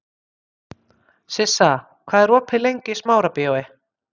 Sissa, hvað er opið lengi í Smárabíói?